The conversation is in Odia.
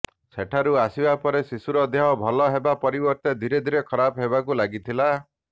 ସେଠାରୁ ଆସିବା ପରେ ଶିଶୁର ଦେହ ଭଲ ହେବା ପରିବର୍ତ୍ତେ ଧୀରେ ଧୀରେ ଖରାପ ହେବାକୁ ଲାଗିଥିଲା